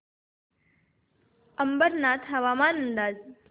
अंबरनाथ हवामान अंदाज